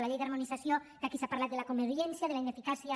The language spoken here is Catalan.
la llei d’harmonització que aquí s’ha parlat de la commoriència de la ineficàcia